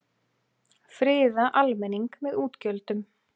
Friða almenning með útgjöldum